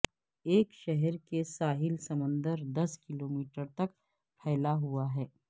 ایک شہر کے ساحل سمندر دس کلومیٹر تک پھیلا ہوا ہے